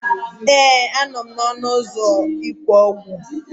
Ee, a nọ m n'ọnụ ụzọ ịkwụ ụgwọ.